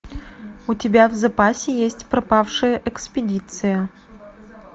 у тебя в запасе есть пропавшая экспедиция